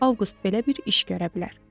Avqust belə bir iş görə bilər.